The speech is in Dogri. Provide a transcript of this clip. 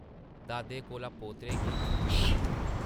दादे कोला पोतरे गी मिलियां न ।